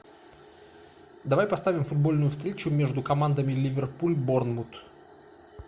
давай поставим футбольную встречу между командами ливерпуль борнмут